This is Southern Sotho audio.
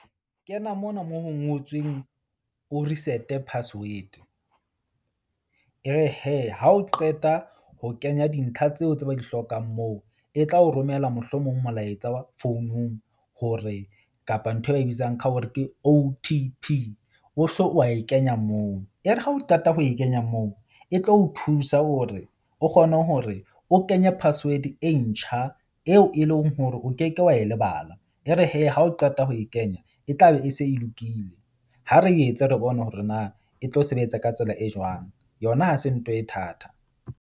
Kena mona moo ho ngotsweng o reset-e password. Ebe hee ha o qeta ho kenya dintlha tseo tse ba di hlokang moo, e tla o romela mohlomong molaetsa wa founung hore kapa nthwe ba e bitsang ka hore ke O_T_P wa e kenya moo. Ere ha o qeta ho e kenya moo, e tlo o thusa hore o kgone hore o kenye password e ntjha eo e leng hore o ke ke wa wa e lebala. E re hee ha o qeta ho e kenya e tla be e se e lokile. Ha re etse re bone hore na e tlo sebetsa ka tsela e jwang. Yona ha se ntho e thata.